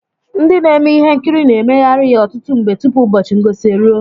Ndị na-eme ihe nkiri na-emeghari ya ọtụtụ mgbe tụpụ ụbọchị ngosi eruo.